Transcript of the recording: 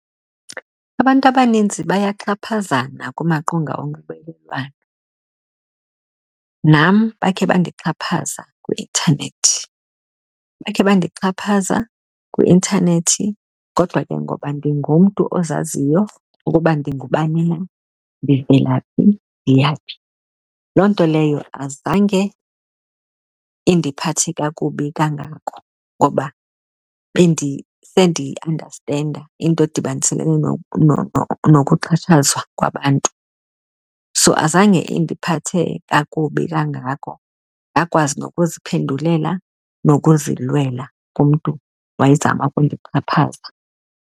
Abantu abaninzi bayaxhaphazana kumaqonga onxibelelwano, nam bakhe bandixhaphaza kwi-intanethi. Bakhe bandixhaphaza kwi-intanethi kodwa ke ngoba ndingumntu ozaziyo ukuba ndingubani, ndivela phi, ndiya phi, loo nto leyo azange indiphathe kakubi kangako ngoba bendisendiyiandastenda into edibaniselene nokuxhatshazwa kwabantu. So azange indiphathe kakubi kangako, ndakwazi nokuziphendulela nokuzilwela kumntu owayezama ukundixhaphaza.